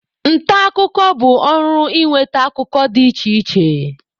Nta akụkọ bụ ọrụ ịnweta akụkọ dị iche iche.